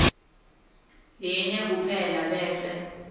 linye kuphela bese